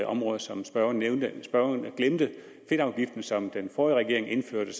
områder som spørgeren nævnte spørgeren glemte fedtafgiften som den forrige regering indførte